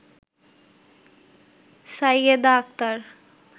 Sayeda Akter